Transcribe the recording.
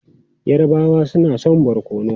Yarabawa suna son barkono.